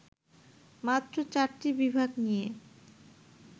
মাত্র চারটি বিভাগ নিয়ে